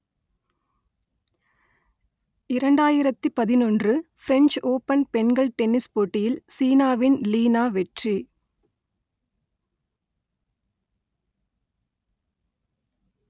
இரண்டாயிரத்து பதினொன்று French Open பெண்கள் டென்னிஸ் போட்டியில் சீனாவின் லீ நா வெற்றி